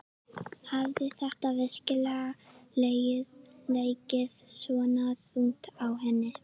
Hafði þetta virkilega legið svona þungt á henni?